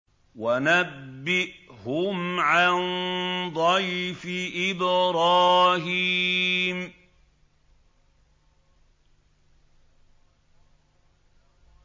وَنَبِّئْهُمْ عَن ضَيْفِ إِبْرَاهِيمَ